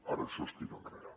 ara això es tira enrere